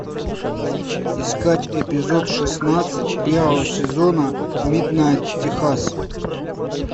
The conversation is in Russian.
искать эпизод шестнадцать первого сезона миднайт техас